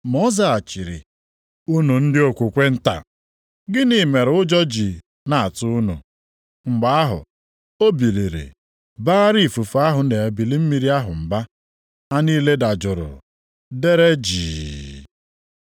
Ma ọ zaghachiri, “Unu ndị okwukwe nta, gịnị mere ụjọ ji na-atụ unu?” Mgbe ahụ o biliri baara ifufe ahụ na ebili mmiri ahụ mba. Ha niile dajụrụ, deere jii.